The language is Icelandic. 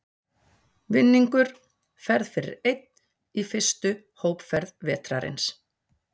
Vinningur Ferð fyrir einn í fyrstu hópferð vetrarins.